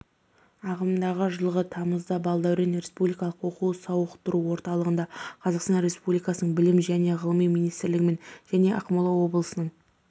ағымдағы жылғы тамызда балдәурен республикалық оқу-сауықтыру орталығында қазақстан республикасының білім және ғылым министрлігімен және ақмола облысының